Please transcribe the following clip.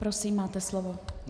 Prosím, máte slovo.